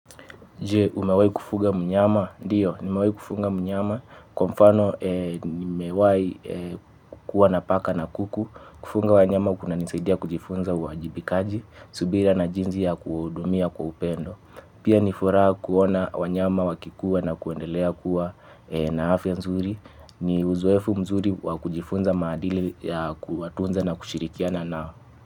Je umewahi kufuga mnyama. Ndio, nimewahi kufuga mnyama. Kwa mfano, nimewahi kukuwa napaka na kuku, kufuga wanyama kuna nisaidia kujifunza uwajibikaji, subira na jinsi ya kuhudumia kwa upendo. Pia nifuraha kuona wanyama wakikua na kuendelea kuwa na afya nzuri. Ni uzoefu mzuri wakujifunza maadili ya kuwatunza na kushirikiana nao.